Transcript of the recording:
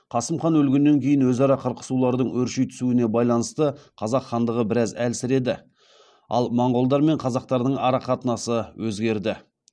қасым хан өлгеннен кейін өзара қырқысулардың өрши түсуіне байланысты қазақ хандығы біраз әлсіреді ал монғолдар мен қазақтардың арақатынасы өзгерді